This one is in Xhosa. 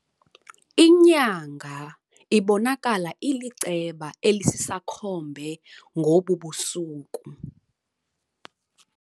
Inyanga ibonakala iliceba elisisakhombe ngobu busuku.